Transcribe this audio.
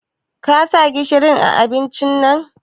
Ka sa gishiri a abincin?